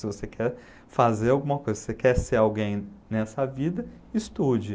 Se você quer fazer alguma coisa, se você quer ser alguém nessa vida, estude.